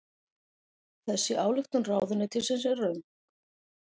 Þessi ályktun ráðuneytisins er röng